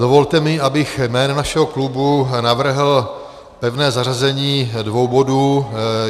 Dovolte mi, abych jménem našeho klubu navrhl pevné zařazení dvou bodů.